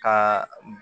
Ka